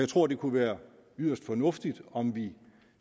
tror det kunne være yderst fornuftigt om vi